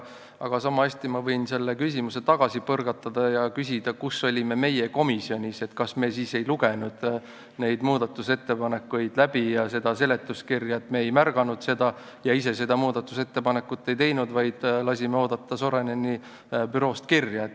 Aga sama hästi ma võin selle küsimuse tagasi põrgatada ja küsida, kus olime meie komisjonis, kas me siis ei lugenud läbi neid muudatusettepanekuid ja seletuskirja, et me ei märganud neid asju ega teinud ise seda muudatusettepanekut, vaid lasime oodata Soraineni büroo kirja.